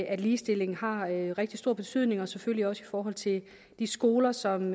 at ligestillingen har rigtig stor betydning og selvfølgelig også i forhold til de skoler som